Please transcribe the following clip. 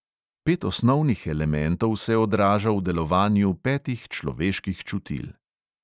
Pet osnovnih elementov se odraža v delovanju petih človeških čutil.